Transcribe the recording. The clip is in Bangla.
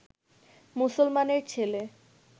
মুসলমানের ছেলে